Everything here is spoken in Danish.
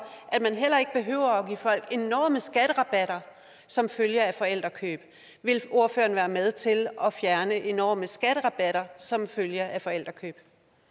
at man heller ikke behøver at give folk enorme skatterabatter som følge af forældrekøb vil ordføreren være med til at fjerne enorme skatterabatter som følge af forældrekøb